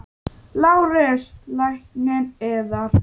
LÁRUS: Lækninn yðar?